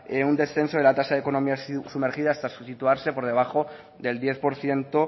un descenso de la tasa de economía sumergida hasta situarse por debajo del diez por ciento